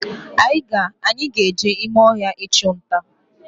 Anyị ga-eje ime ọhịa ịchunta